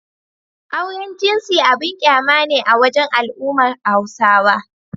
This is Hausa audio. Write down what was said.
Auren jinsi abun ƙyama ne a wajen al'ummar Hausawa.